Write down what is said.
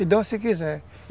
E dão se quiser.